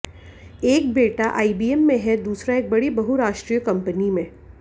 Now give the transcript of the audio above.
एक बेटा आईबीएम में है दूसरा एक बड़ी बहुराष्ट्रीय कंपनी में